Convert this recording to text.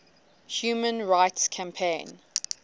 human rights campaign